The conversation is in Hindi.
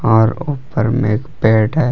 और ऊपर में एक बेड है।